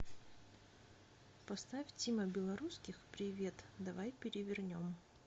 поставь тима белорусских привет давай перевернем